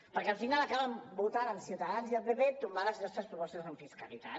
perquè al final acaben votant amb ciutadans i el pp tombar les nostres propostes en fiscalitat